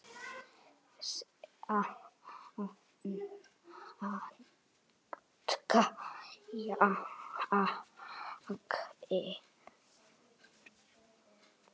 Safna kjarki.